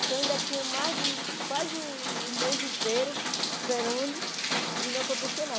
Então eu ainda tinha mais quase o mês inteiro esperando e não acontecia nada.